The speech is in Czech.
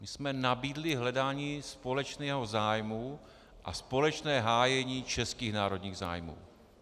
My jsme nabídli hledání společného zájmu a společné hájení českých národních zájmů.